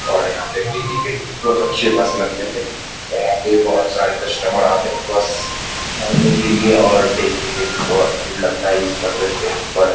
और यहाँ पे डेली के बहुत अच्छे बस लगते हैं और यहाँ पे बहुत सारे कस्टमर आते हैं बस चढ़ने के लिए और डेली के डेली बहुत भीड़ लगता है इस बस स्टैंड पर ।